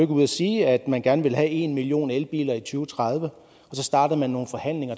ude at sige at man gerne ville have en million elbiler i to tusind og tredive så startede man nogle forhandlinger